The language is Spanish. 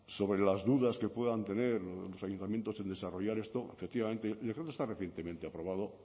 sobre las dudas que puedan tener los ayuntamientos en desarrollar esto efectivamente yo creo que está recientemente aprobado